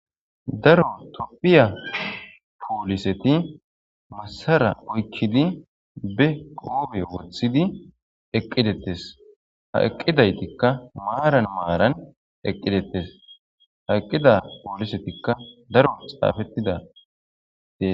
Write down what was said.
Daro topphiya pooliseti massara oykkidi be qoobe wothidi eqqidettes ha eqqidaytikka maaran maaran eqqidetes ha eqqida poolisetikka daro xaafettidae.